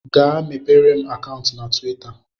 Gaa mepere m akantu na tuwita